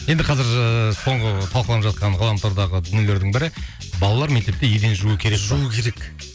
енді қазір ыыы соңғы талқыланып жатқан ғаламтордағы дүниелердің бірі балалар мектепте еден жуу керек пе жуу керек